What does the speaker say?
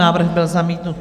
Návrh byl zamítnut.